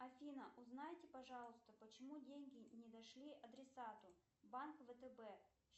афина узнайте пожалуйста почему деньги не дошли адресату банк втб